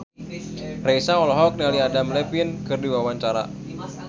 Raisa olohok ningali Adam Levine keur diwawancara